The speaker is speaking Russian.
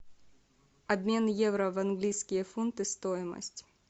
обмен евро в английские фунты стоимость